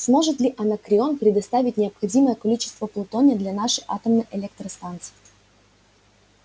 сможет ли анакреон предоставить необходимое количество плутония для нашей атомной электростанции